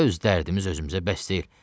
Öz dərdimiz özümüzə bəs deyil.